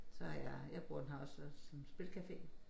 Så har jeg jeg bruger den her også som spilcafé